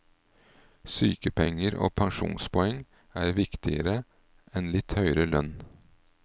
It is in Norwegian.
Sykepenger og pensjonspoeng er viktigere enn litt høyere lønn.